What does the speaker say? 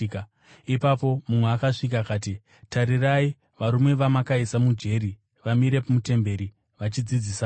Ipapo mumwe akasvika akati, “Tarirai! Varume vamakaisa mujeri vamire mutemberi vachidzidzisa vanhu.”